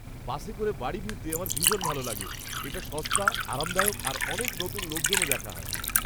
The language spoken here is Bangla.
বাসে করে বাড়ি ফিরতে আমার ভীষণ ভালো লাগে। এটা সস্তা, আরামদায়ক আর অনেক নতুন লোকজনও দেখা হয়।